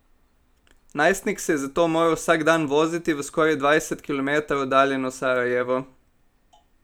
Najstnik se je zato moral vsak dan voziti v skoraj dvajset kilometrov oddaljeno Sarajevo.